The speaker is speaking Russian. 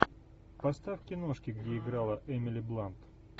поставь киношки где играла эмили блант